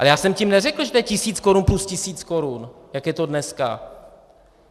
Ale já jsem tím neřekl, že to je tisíc korun plus tisíc korun, jak je to dneska.